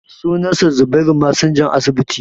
sunansa zubairu masinjan asibiti